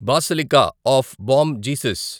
basilica of Bom Jesus